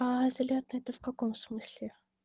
а залётный это в каком смысле